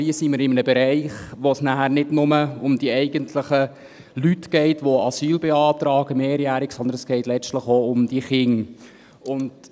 Aber hier sind wir in einem Bereich, wo es nachher nicht nur um die eigentlichen Leute geht, die mehrjähriges Asyl beantragen, sondern es geht letztlich auch um die Kinder.